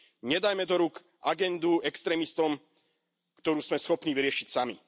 Nedajme do rúk agendu extrémistom, ktorú sme schopní vyriešiť sami.